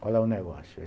Qual é o negócio?